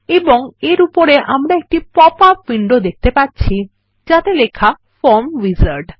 এবং এর উপরে আমরা একটি পপআপ উইন্ডো দেখতে পাচ্ছি যাতে লেখা ফর্ম উইজার্ড